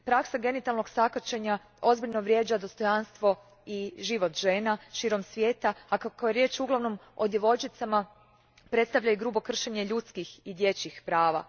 Praksa genitalnog sakaćenja ozbiljno vrijeđa dostojanstvo i život žena širom svijeta, a kako je riječ uglavnom o djevojčicama, predstavlja i grubo kršenje ljudskih i dječjih prava.